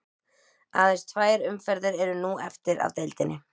Aðeins tvær umferðir eru nú eftir af deildinni.